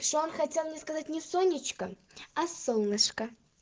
что он хотел мне сказать не сонечка а солнышко